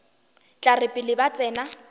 tla re pele ba tsena